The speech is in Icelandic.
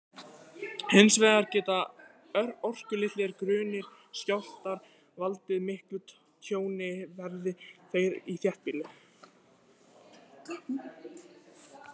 Hins vegar geta orkulitlir, grunnir skjálftar valdið miklu tjóni, verði þeir í þéttbýli.